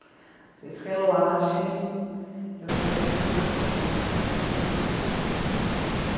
Vocês relaxem, que eu quero que vocês aprendam, porque era muito difícil.